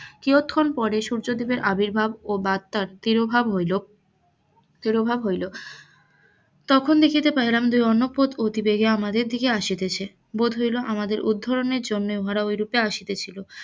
কিয়ৎক্ষণ পরে সূর্য দেবের আবির্ভাব ও বার্তার তিরোভাব হইল, তিরোভাব হইল, তিরোভাব হইল তখন দেখিতে পাইলাম যে গতিবেগে আমাদের দিকে আসিতেছে, বোধ হইল আমাদের উদ্ধরনের জন্য উহারা অই রূপ্রে আসিতেছিল